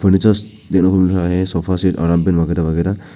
Furniture देखने को मिल रहा है सोफा सेट वगैरा वगैरा।